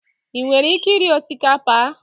I nwere ike iri osikapa a?